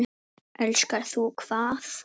Lilla var á gatinu.